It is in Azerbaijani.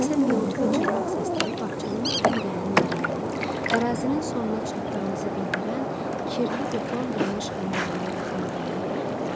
Deyəsən milu və cırmaq səsləri bağçanın ən dərin yerindən, ərazinin sonuna çatdığınızı bildirən kirli beton drenaj xəndəyinin yaxınlığından gəlirdi.